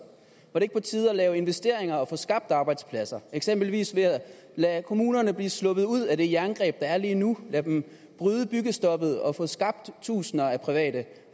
er det ikke på tide at lave investeringer og få skabt arbejdspladser eksempelvis ved at lade kommunerne slippe ud af det jerngreb der er lige nu lade dem bryde byggestoppet og få skabt tusinder af private